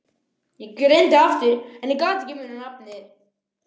Ég reyndi aftur en ég gat ekki munað nafnið.